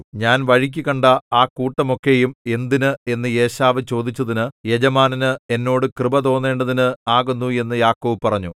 ഞാൻ വഴിക്കു കണ്ട ആ കൂട്ടമൊക്കെയും എന്തിന് എന്ന് ഏശാവ് ചോദിച്ചതിന് യജമാനന് എന്നോട് കൃപതോന്നേണ്ടതിന് ആകുന്നു എന്ന് യാക്കോബ് പറഞ്ഞു